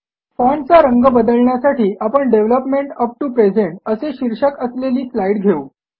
फाँटचा रंग बदलण्यासाठी आपण डेव्हलपमेंट अप टीओ प्रेझेंट असे शीर्षक असलेली स्लाईड घेऊ